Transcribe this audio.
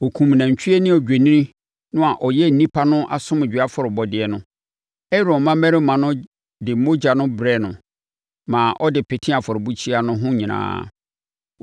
Ɔkumm nantwie ne odwennini no a ɛyɛ nnipa no asomdwoeɛ afɔrebɔdeɛ no. Aaron mmammarima no de mogya no brɛɛ no maa ɔde petee afɔrebukyia no ho nyinaa.